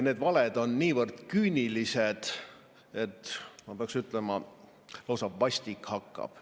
Need valed on niivõrd küünilised, et ma peaksin ütlema, et lausa vastik hakkab.